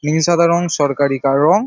নীল সাদা রং সরকারি কা রং।